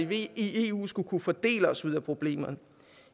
vi i eu skulle kunne fordele os ud af problemerne